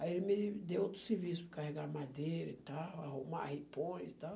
Aí ele me deu outro serviço, para carregar madeira e tal, arrumar ripões e tal.